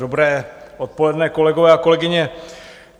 Dobré odpoledne, kolegové a kolegyně.